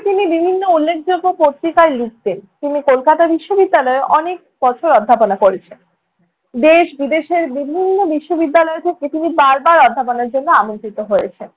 তিনি বিভিন্ন উল্লেখযোগ্য পত্রিকায় লিখতেন। তিনি কলকাতা বিশ্ববিদ্যালয়েও অনেক বছর অধ্যাপনা করেছেন। দেশ বিদেশের বিভিন্ন বিশ্ববিদ্যালয় থেকে তিনি বার বার অধ্যাপনার জন্য আমন্ত্রিত হয়েছেন।